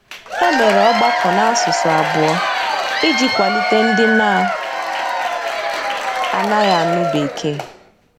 E mere ọgbakọ n'asụsụ abụọ iji kwalite ndị na - anaghị anụ bekee.